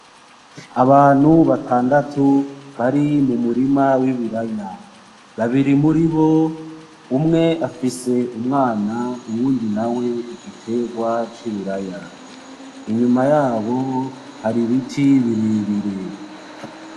Abantu batandatatu bari mumurima w'ibiraya. babiri muribo umwe afise umwana, uyundi nawe igiterwa c'ibiraya. inyuma yabo hari ibiti birebire.